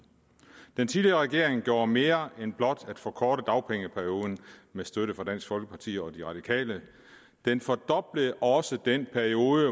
den tidligere regering gjorde mere end blot at forkorte dagpengeperioden med støtte fra dansk folkeparti og de radikale den fordoblede også den periode